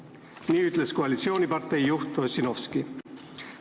" Nii ütles koalitsioonipartei juht Ossinovski.